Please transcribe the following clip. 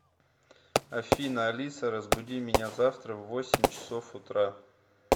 афина алиса разбуди меня завтра в восемь часов утра